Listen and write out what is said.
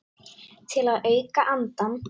Til að auka andann.